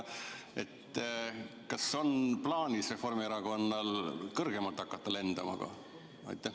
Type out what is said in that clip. Kas Reformierakonnal on plaanis hakata kõrgemalt lendama?